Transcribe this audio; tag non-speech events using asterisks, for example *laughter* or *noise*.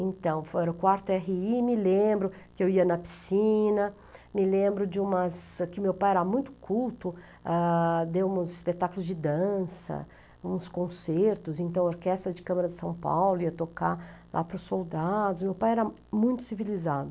Então, *unintelligible* quarto erre i e me lembro que eu ia na piscina, me lembro de umas... é que meu pai era muito culto, deu uns espetáculos de dança, uns concertos, então a Orquestra de Câmara de São Paulo ia tocar lá para os soldados e meu pai era muito civilizado.